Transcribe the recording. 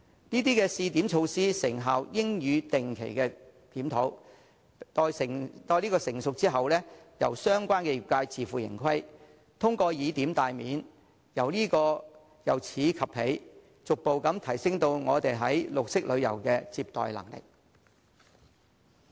這些試點措施的成效應予定期檢討，待成熟之後，由相關業界自負盈虧，通過以點帶面，由此及彼，逐步提升我們對綠色旅遊的接待能力。